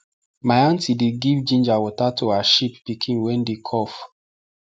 my aunty dey give ginger water to her sheep pikin wey dey cough